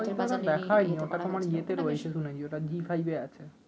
ওটা আমার দেখা হয় নি ওটা তোমার ইয়ে তে রয়েছে ওটা জি ফাইভে আছে